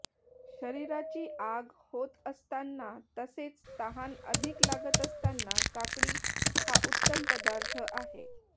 शरीराची आग होत असतांना तसेच तहान अधिक लागत असतांना काकडी हा उत्तम पदार्थ आहे